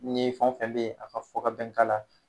Ni fɛn o fɛn be ye a ka fɔ ka bɛn k'ala